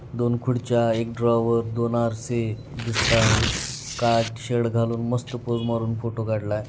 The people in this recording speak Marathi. दोन खुर्च्या एक ड्रॉवर दोन आरसे दिसता आहेत काळा शर्ट घालून मस्त पोझ मारून फोटो काढलाय.